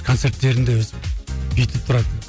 концерттерінде өстіп бүйтіп тұрады